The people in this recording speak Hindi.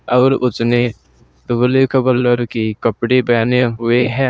अउर उसने कपड़े पहने हुए है।